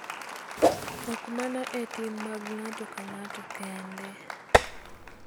Ok mana e tim mag ng�ato ka ng�ato kende .